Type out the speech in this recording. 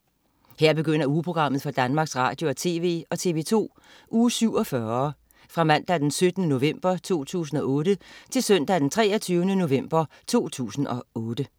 Her begynder ugeprogrammet for Danmarks Radio- og TV og TV2 Uge 47 Fra Mandag den 17. november 2008 Til Søndag den 23. november 2008